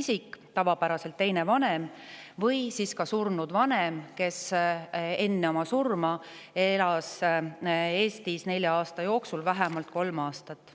isik – tavapäraselt on see teine vanem – või siis surnud vanem, kes enne oma surma elas Eestis nelja aasta jooksul vähemalt kolm aastat.